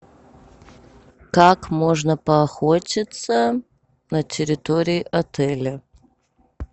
как можно поохотиться на территории отеля